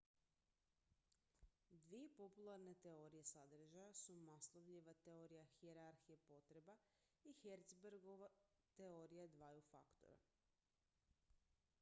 dvije popularne teorije sadržaja su maslowljeva teorija hijerarhije potreba i herzbergova teorija dvaju faktora